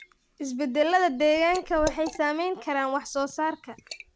Isbeddellada deegaanka waxay saameyn karaan wax soo saarka.